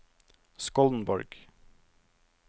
Skollenborg